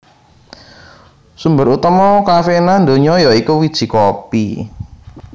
Sumber utama kafeina ndonya ya iku wiji kopi